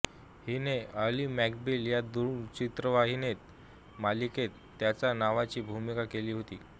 हिने Ally McBeal या दूरचित्रवाणी मालिकेत त्याच नावाची भूमिका केली होती